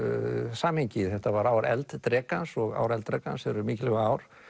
samhengi þetta var ár elddrekans og ár elddrekans eru mikilvæg ár